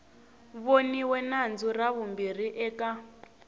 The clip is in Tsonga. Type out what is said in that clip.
voniwe nandzu ra vumbirhi eka